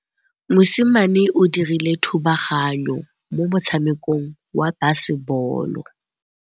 Mosimane o dirile thubaganyô mo motshamekong wa basebôlô.